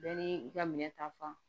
Bɛɛ ni i ka minɛ ta fan